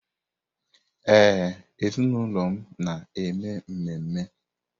Ee, ezinụlọ m na-eme ememe.